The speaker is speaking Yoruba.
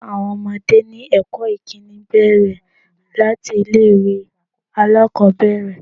Kíkọ́ àwọn ọmọdé ní ẹ̀kọ́ ìkíni bẹ̀rẹ̀ láti ilé ìwé alákòbẹ̀rẹ̀.